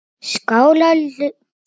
Skáldalaun var það kallað!